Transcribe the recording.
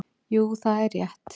Jú það er rétt.